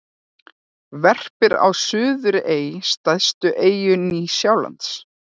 Verpir á Suðurey, stærstu eyju Nýja-Sjálands.